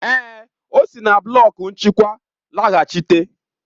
Èè, ọ si na blọk nchịkwa laghachita.